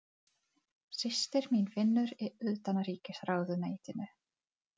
Systir mín vinnur í Utanríkisráðuneytinu.